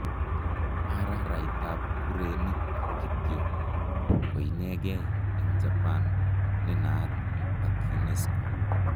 Araraitap kurenik kityo koinegee eng' japan ne naat ak Unesco.